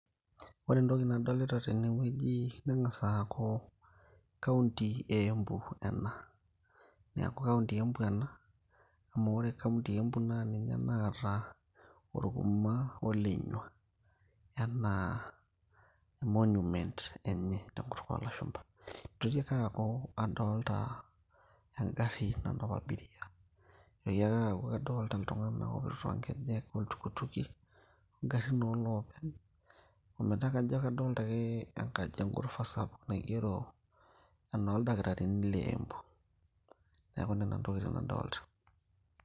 ore entoki nadolita tenewueji neng'as aaku kaunti e embu ena, neeku kaunti e embu ena amu ore kaunti e embu naa ninye naata oruma olenyua enaa monument enye tenkutuk oolashumpa nitoki ake aaku adolta engarri nanap abiria nitoki ake aaku kadolta iltung'anak otii toonkejek oltukutuki ongarrin oolopeny ometaa kajo kadolta ake enkaji engurufa sapuk naigero enoldakitarini le embu neeku nena intokitin nadolta.